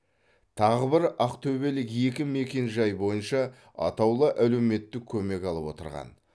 тағы бір ақтөбелік екі мекенжай бойынша атаулы әлеуметтік көмек алып отырған